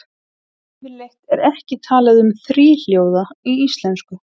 Yfirleitt er ekki talað um þríhljóða í íslensku.